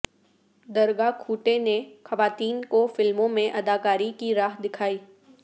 درگا کھوٹے نے خواتین کو فلموں میں اداکاری کی راہ دکھائی